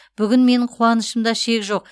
бүгін менің қуанышымда шек жоқ